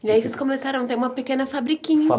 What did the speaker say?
E aí eles começaram, tem uma pequena fabriquinha